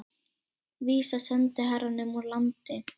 Vísa sendiherranum úr landi